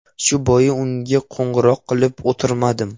Shu bois unga qo‘ng‘iroq qilib o‘tirmadim.